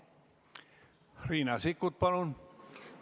Riina Sikkut, palun!